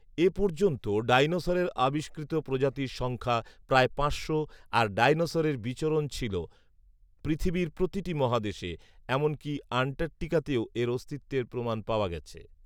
এ পর্যন্ত ডাইনোসরের আবিষ্কৃত প্রজাতির সংখ্যা প্রায় পাঁচশো আর ডাইনোসরের বিচরণ ছিল পৃথিবীর প্রতিটি মহাদেশে, এমনকি আন্টার্টিকাতেও এর অস্তিত্বের প্রমাণ পাওয়া গেছে